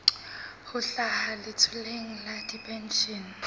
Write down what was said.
ho hlaha letloleng la dipenshene